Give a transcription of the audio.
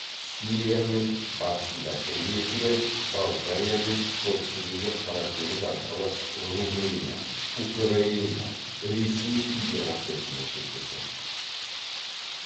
сириямен батысында грекия болгариямен солтүстігінде қара теңіз арқылы румыния украина ресей федерациясымен шектеседі